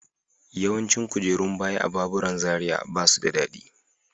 Yawancin kujerun baya a baburan Zaria ba su da daɗi.